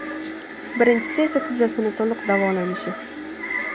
Birinchisi esa tizzasini to‘liq davolanishi.